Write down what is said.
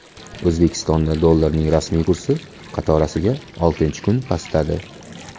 O‘zbekistonda dollarning rasmiy kursi qatorasiga oltinchi kun pastladi.